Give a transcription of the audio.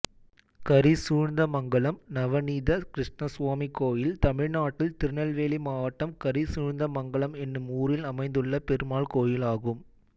கரிசூழ்ந்தமங்கலம் நவநீத கிருஷ்ணசுவாமி கோயில் தமிழ்நாட்டில் திருநெல்வேலி மாவட்டம் கரிசூழ்ந்தமங்கலம் என்னும் ஊரில் அமைந்துள்ள பெருமாள் கோயிலாகும்